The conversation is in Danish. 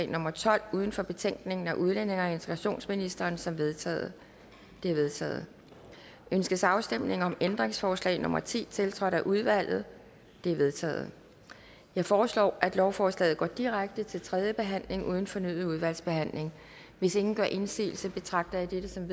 nummer tolv uden for betænkningen af udlændinge og integrationsministeren som vedtaget det er vedtaget ønskes afstemning om ændringsforslag nummer ti tiltrådt af udvalget det er vedtaget jeg foreslår at lovforslaget går direkte til tredje behandling uden fornyet udvalgsbehandling hvis ingen gør indsigelse betragter jeg dette som